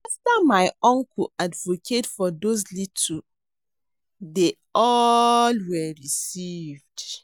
After my uncle advocate for those little dey all were received